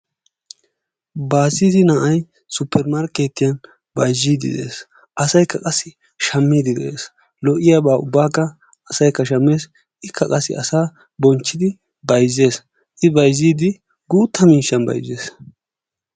Baazziti na'ay suppeemarkkeetiyan bayzziiddi de'ees. Asaykka qassi shammiiddi de'ess. Lo'iyabaa ubbaakka asaykka shammees. Ikka qassi asaa bonchchiiddi bayzzees. I bayzziiddi guutta miishshan bayzzees.